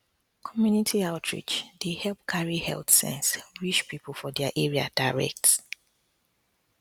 community outreach dey help carry health sense reach people for their area direct